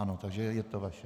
Ano, takže je to vaše.